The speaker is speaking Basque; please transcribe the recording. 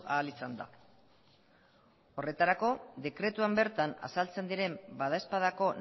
ahal izan da horretarako dekretuan bertan azaltzen diren badaezpadako